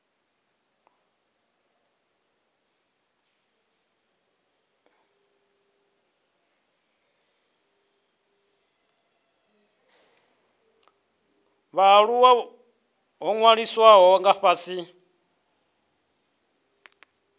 vhaaluwa ho ṅwalisiwaho nga fhasi